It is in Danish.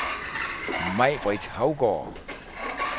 Maj-Britt Haugaard